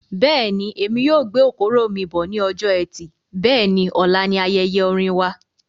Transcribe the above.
Bẹ́ẹ̀ni, èmi yóò gbé okoro mí bọ̀ ní ọjọ ẹtì Bẹ́ẹ̀ni, ọ̀la ní ayẹyẹ orin wa